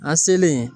A selen